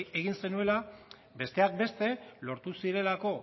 egin zenuela besteak beste lortu zirelako